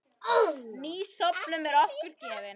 Ný stofnun er okkur gefin.